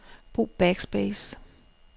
Brug backspace.